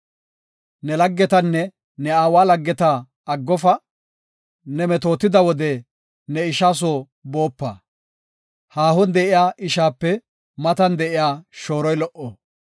Ne laggetanne ne aawa laggeta aggofa; ne metootida wode ne ishaa soo boopa; haahon de7iya ishape matan de7iya shooroy lo77o.